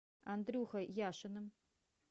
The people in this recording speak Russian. андрюхой яшиным